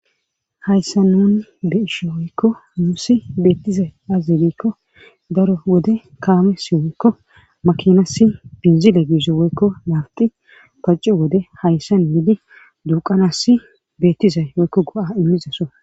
Hayssa nun be isho woykko musi beettizay azibikko daro wode kaame si woykko makinasi binzile giise woykko laabti pacco wode hayssa miidi duuqanasi beettizay woykko go'a immizaso.